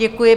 Děkuji.